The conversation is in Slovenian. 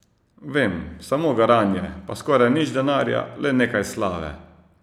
Vem, samo garanje, pa skoraj nič denarja, le nekaj slave.